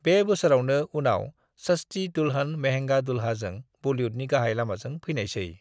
बे बोसोरावनो उनाव 'सस्ती दुल्हन महेंगा दुल्हा' जों बलीवुडनि गाहाय लामाजों फैनायसै।